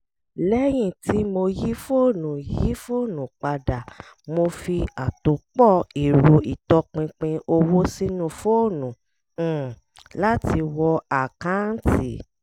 lẹ́yìn tí mo yí fóònù yí fóònù padà mo fi àtòpọ̀ ẹ̀rọ ìtọ́pinpin owó sínú fóònù um láti wọ àkanti